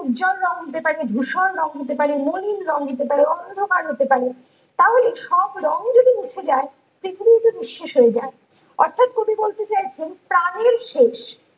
উজ্জ্বল রঙ হতে পারে ধূসর রঙ হতে পারে মলিন রঙ হতে পারে অন্ধকার হতে পারে তাহলে সব রঙ যদি মুছে যাই, পৃথিবীতে নিঃশ্বেস হয়ে যায় অর্থ্যাৎ কবি বলতে চাইছেন প্রাণের শেষ